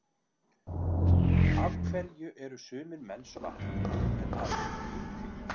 af hverju eru sumir menn svartir en aðrir hvítir